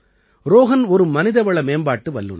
ரோஹன் ஒரு மனிதவள மேம்பாட்டு வல்லுநர்